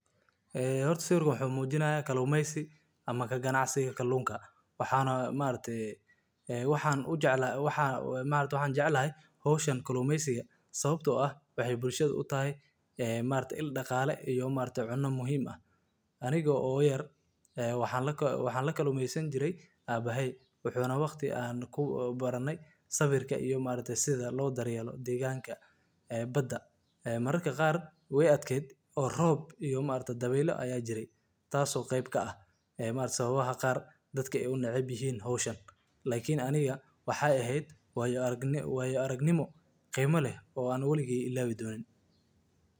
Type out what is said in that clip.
Gaadiidka kalluunka waa hawl muhiim ah oo u baahan taxaddar iyo xirfad gaar ah si loo hubiyo in kalluunka uu gaadho meesha loogu talagalay isagoo caafimaad qaba oo tayo wanaagsan leh. Marka kalluunka la soo qabto, waxaa lagu raraa weelal biyo nadiif ah oo heerkulkoodu habboon yahay, si looga hortago in kalluunku gubto ama uu xumaado. Waxaa sidoo kale la isticmaalaa qalab gaar ah oo kor u qaada oksijiinta biyaha, si kalluunku u helo neefsasho ku filan inta uu safarka ku jiro.